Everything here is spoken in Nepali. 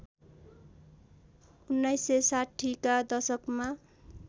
१९६० का दशकमा